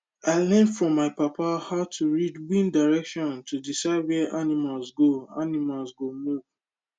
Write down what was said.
i learn from my papa how to read wind direction to decide where animals go animals go move